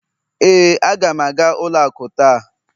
ee, aga m aga ụlọ akụ taa